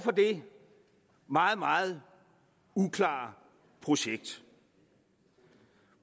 for det meget meget uklare projekt